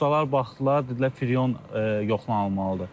Ustalar baxdılar, dedilər friyon yoxlanılmalıdır.